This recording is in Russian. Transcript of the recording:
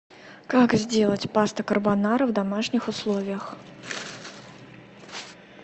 как сделать паста карбонара в домашних условиях